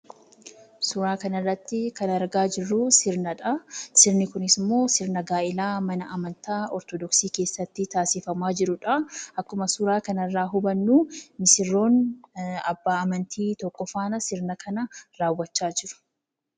Suuraa kanarratti kan argaa jirru sirnadhaa. Sirni isaas sirna gaa'eela mana amantaa Ortoodoksii keessatti tasiifama jirudha.